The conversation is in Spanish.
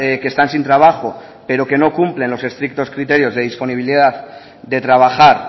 que están sin trabajo pero que no cumplen los estrictos criterios de disponibilidad de trabajar